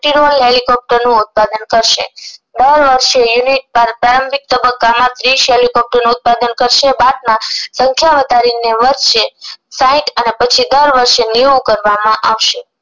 helicopter નું ઉત્પાદન કરશે દર વર્ષે તબક્કા માં ત્રીસ હેલીકોપ્ટર નું ઉત્પાદન કરશે બાદમાં સંખ્યા વધારીને વચ્ચે સાઈઠ અને પછી દર વર્ષે નેવું કરવામાં આવશે